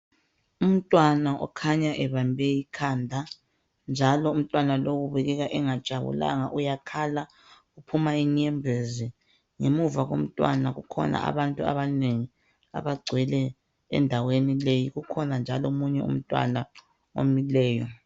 Umntwana ukhanya ebambe ikhanda njalo umntwana lowo ubukeka engajabulanga uyakhala uphuma inyembezi ngemuva komntwana kukhona abantu abanengi abagcwele endaweni leyi. Kukhona njalo omunye umntwana omileyo.